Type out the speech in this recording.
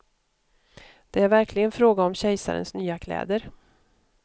Det är verkligen fråga om kejsarens nya kläder.